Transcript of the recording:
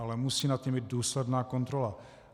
Ale musí nad tím být důsledná kontrola.